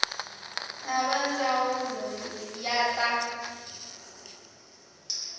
na va ndzawulo ya ta